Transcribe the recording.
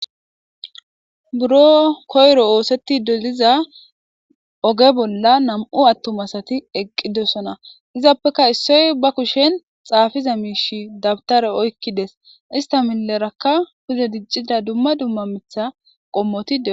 Buro koyro oosetti doliza oge bolla nam'u attumasati eqqidosona izaappeka issoy bakushen xaafiza miishi dabtare oykkides ista milerakka kuze diccida dumma dumma mitha qommoti.